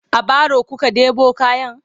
a baro kuka ɗebo kayan?